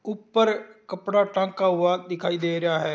ऊपर कपडा टांगा हुआ दिखाई दे रहा हैं।